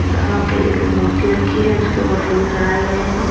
जहां पे एक मूर्ति रखी है उसके ऊपर फूल चढ़ाए गए हैं।